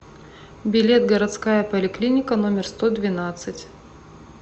билет городская поликлиника номер сто двенадцать